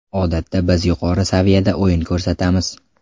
Odatda biz yuqori saviyada o‘yin ko‘rsatamiz.